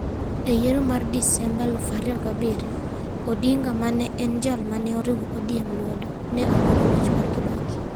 E yiero mar Desemba 2007, Odinga, ma ne en jal ma ne riwo ODM lwedo, ne okwedo loch mar Kibaki.